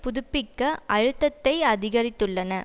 புதுப்பிக்க அழுத்தத்தை அதிகரித்துள்ளன